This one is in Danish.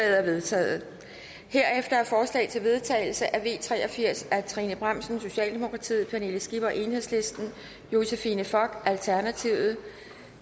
er vedtaget herefter er forslag til vedtagelse nummer v tre og firs af trine bramsen pernille skipper josephine fock